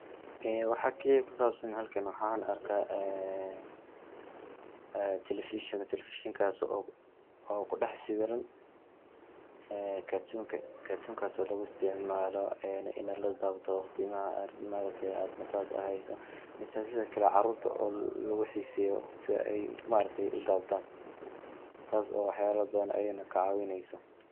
Eee waxa kaliya ku saabsan halkan waxaan arkaa ,ee telefishan, telefishan kaas oo kudhax sawiran ee cartoon ka ,cartoon kaas oo lagu isticmaalo ini la daawdo waqtimaha ma ragte ee aad nafaas hayso .Mise sidakle caruurta oo lagu xiseeyo sida ay ma aragte ay u dawadaan taas oo waxyaaba badan ayaka na ka cawineyso.